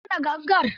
Buga mana gamgar.